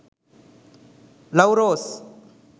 love rose